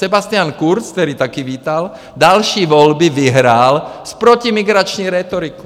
Sebastian Kurz, který také vítal, další volby vyhrál s protimigrační rétorikou.